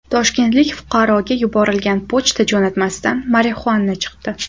Toshkentlik fuqaroga yuborilgan pochta jo‘natmasidan marixuana chiqdi.